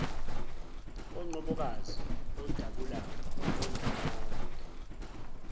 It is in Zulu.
onqobokazi odabula ondawonde